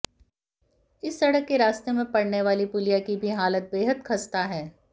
इस सड़क के रास्ते में पडऩे वाली पुलिया की भी हालत बेहद खस्ता है